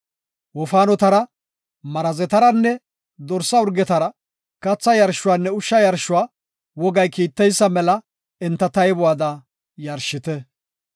Wofaanotara, marazetaranne dorsa urgetara katha yarshuwanne ushsha yarshuwa wogay kiitteysa mela enta taybuwada yarshite.